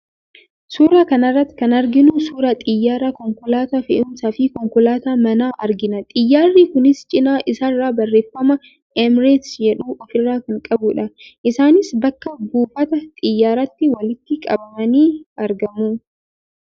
Suuraa kana irratti kan arginu suuraa xiyyaaraa, konkolaataa fe'umsaa fi konkolaataa manaa argina. Xiyaarri kunis cinaa isaarraa barreeffama 'Emirates' jedhu ofirraa kan qabudha. Isaanis bakka buufata xiyyaaraatti walitti qabamanii argamu.